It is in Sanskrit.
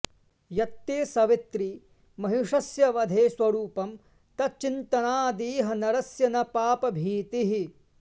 यत्ते सवित्रि महिषस्य वधे स्वरूपं तच्चिन्तनादिह नरस्य न पापभीतिः